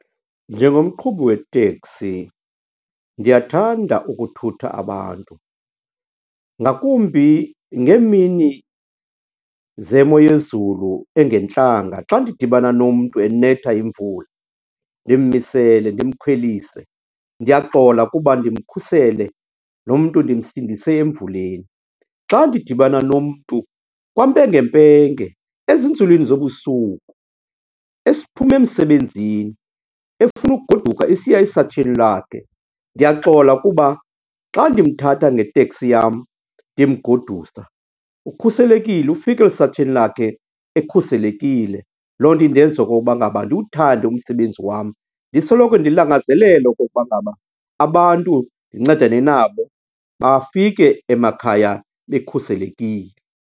Njengomqhubi weteksi ndiyathanda ukuthutha abantu, ngakumbi ngeemini zemo yezulu engentlanga. Xa ndidibana nomntu enetha yimvula, ndimmisele, ndimkhwelise, ndiyaxola kuba ndimkhusele, lo mntu ndimsindise emvuleni. Xa ndidibana nomntu kwampengempenge ezinzulwini zobusuku, esiphuma emsebenzini efuna ugoduka esiya esatsheni lakhe, ndiyaxola kuba xa ndimthatha ngeteksi yam ndimgodusa, ukhuselekile, ufika esatsheni lakhe ekhuselekile. Loo nto indenza okokuba ngaba ndiwuthande umsebenzi wam ndisoloko ndilangazelela okokuba ngaba abantu ndincedane nabo, bafike emakhaya bekhuselekile.